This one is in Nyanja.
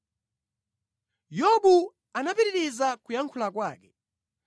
Yobu anapitiriza kuyankhula kwake: